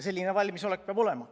Selline valmisolek peab olema.